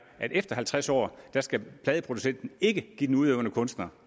at efter halvtreds år skal pladeproducenten ikke give den udøvende kunstner